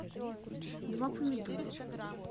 два помидора